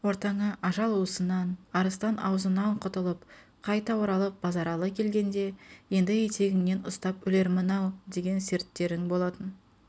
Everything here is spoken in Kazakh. ортаңа ажал уысынан арыстан аузынаң құтылып қайта оралып базаралы келгенде еңді етегіңнен ұстап өлермін-ау деген серттерің болатын